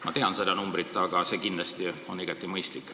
Ma tean seda summat, see kindlasti on igati mõistlik.